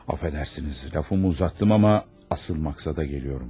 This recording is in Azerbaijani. Affedersiniz, lafımı uzattım ama asıl maksada geliyorum.